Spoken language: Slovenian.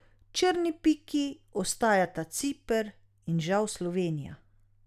Črni piki ostajata Ciper in žal Slovenija.